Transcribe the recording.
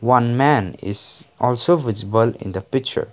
one man is also visible in the picture.